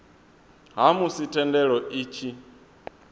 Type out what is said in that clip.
ha musi thendelo i tshi